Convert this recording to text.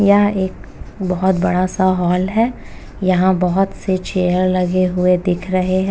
यह एक बहुत बड़ा सा हॉल है। यहाँ बहुत से चेयर लगे हुए दिख रहे है।